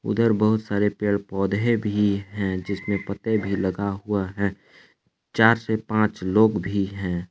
ऊधर बहुत सारे पेड़ पौधे भी हैं जिसमें पत्ते भी लगा हुआ है चार से पांच लोग भी हैं।